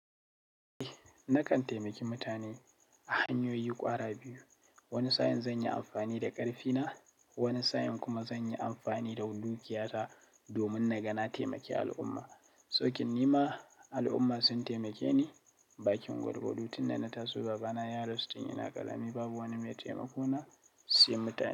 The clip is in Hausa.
Eh nakan taimaki mutane a hanyoyi ƙwara biyu. Wani sa'in zan yi amfani da ƙarfina, wani sa'in kuma zan yi amfani da dukiya ta domin na ga na taimake al'umma. Soke ni ma al'umma sun taimake ni. Bakin gwargwado tun da na taso baba na ya rasu tun ina ƙarami babu wani mai taimako na sai mutane.